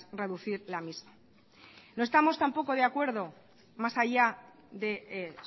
reducir la misma no estamos tampoco de acuerdo más allá de